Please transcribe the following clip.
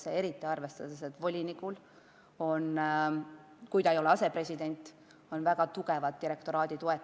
Seda eriti tänu sellele, et volinikul, kui ta ei ole asepresident, on väga tugev direktoraadi toetus.